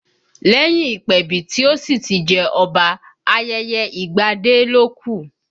Lẹ́yìn ìpèbí tí ó sì ti jẹ́ Ọba, ayẹyẹ ìgbadé ló kù